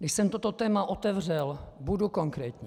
Když jsem toto téma otevřel, budu konkrétní.